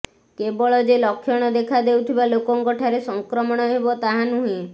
କେବଳ ଯେ ଲକ୍ଷଣ ଦେଖା ଦେଉଥିବା ଲୋକଙ୍କ ଠାରେ ସଂକ୍ରମଣ ହେବ ତାହା ନୁହେଁ